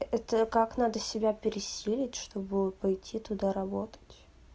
это как надо себя пересилить чтобы пойти туда работать